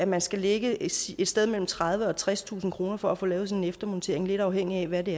man skal lægge et sted mellem tredivetusind og tredstusind kroner for at få lavet sådan en eftermontering lidt afhængig af hvad det